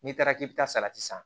N'i taara k'i bɛ taa salati san